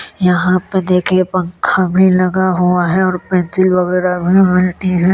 यहाँ पे देखिये पंखा भी लगा हुआ है और पेंसिल वगैरा भी मिलती हैं।